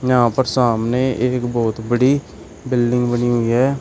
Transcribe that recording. यहां पर सामने एक बहुत बड़ी बिल्डिंग बनी हुई है।